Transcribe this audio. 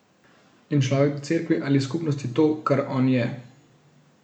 In človek da Cerkvi ali skupnosti to, kar on je.